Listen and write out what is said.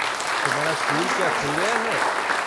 तुम्हारा स्कूल क्या खुल गया है?